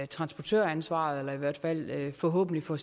transportøransvaret eller i hvert fald forhåbentlig får